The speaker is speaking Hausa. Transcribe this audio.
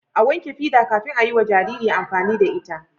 a wanke fida kafin ayiwa Jariri amfani da ita